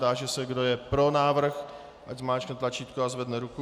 Táži se, kdo je pro návrh, ať zmáčkne tlačítko a zvedne ruku.